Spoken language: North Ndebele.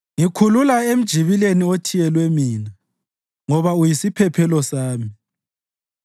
Ngikhulula emjibileni othiyelwe mina, ngoba uyisiphephelo sami.